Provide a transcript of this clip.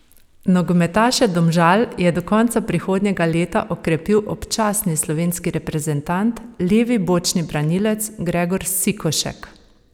Nogometaše Domžal je do konca prihodnjega leta okrepil občasni slovenski reprezentant, levi bočni branilec Gregor Sikošek.